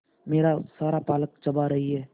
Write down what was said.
मेरा सारा पालक चबा रही है